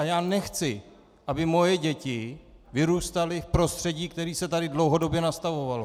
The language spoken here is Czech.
A já nechci, aby moje děti vyrůstaly v prostředí, které se tady dlouhodobě nastavovalo.